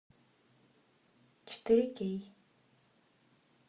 четыре кей